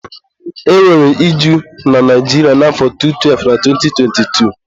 e nwere iju na Naijiria na afọ 2012 na 2022